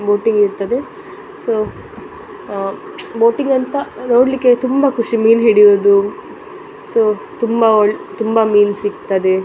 Boating ಇರ್ತ್ತದೆ so boating ಅಂತ ನೋಡ್ಲಿಕ್ಕೆ ತುಂಬ ಖುಷಿ ಮೀನು ಹಿಡಿಯೋದು ಸೊ ಸೊ ತುಂಬ ಮೀನ್ ಸಿಗ್ತದೆ.